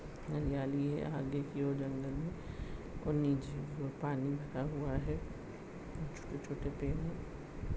हरियाली है आगे कि और जंगल है और नीचे पानी भरा हुआ है छोटे छोटे पेड है।